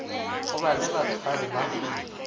go ba le batshwari ba